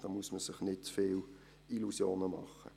Da muss man sich nicht zu viele Illusionen machen.